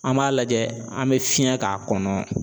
An b'a lajɛ an bɛ fiɲɛ k'a kɔnɔ.